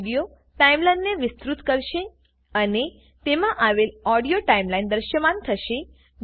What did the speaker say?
આ વિડીયો ટાઈમલાઈનને વિસ્તૃત કરશે અને તેમાં આવેલ ઓડીયો ટાઈમલાઈન દૃશ્યમાન થશે